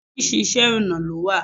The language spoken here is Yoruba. Oríṣiríṣi Iṣẹ́-ọ̀nà ló wà.